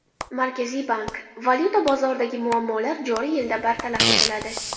Markaziy bank: Valyuta bozoridagi muammolar joriy yilda bartaraf etiladi.